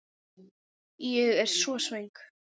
Ég er svo svöng.